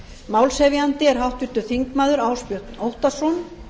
málshefjandi er háttvirtir þingmenn ásbjörn óttarsson